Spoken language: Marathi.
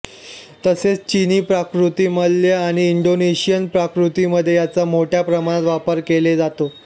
तसेच चिनी पाककृती मलय आणि इंडोनेशियन पाककृतींमध्ये याचा मोठ्या प्रमाणात वापर केला जातो